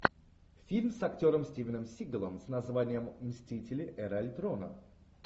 фильм с актером стивеном сигалом с названием мстители эра альтрона